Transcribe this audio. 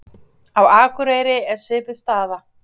Á Akureyri er svipuð staða.